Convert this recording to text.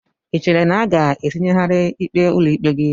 Ị chere na a ga-etinyegharị ikpe ụlọikpe gị?